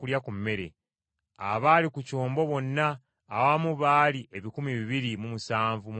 Abaali ku kyombo bonna awamu baali ebikumi bibiri mu nsanvu mu mukaaga.